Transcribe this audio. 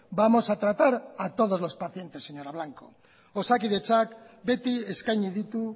vamos a tratar a todos los pacientes señora blanco osakidetzak beti eskaini ditu